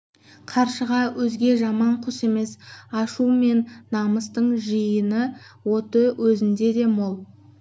қаршыға өзге жаман құс емес ашу мен намыстың жиын оты өзіңде де мол